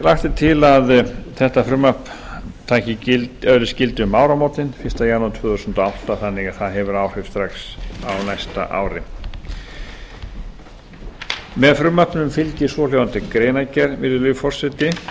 lagt er til að þetta frumvarp öðlist gildi um áramótin fyrsta janúar tvö þúsund og átta þannig að það hefur áhrif strax á næsta ári með frumvarpinu fylgir svohljóðandi greinargerð virðulegi forseti